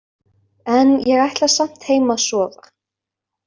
En ég ætla samt heim að sofa